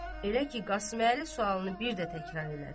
Elə ki Qasıməli sualını bir də təkrar elədi.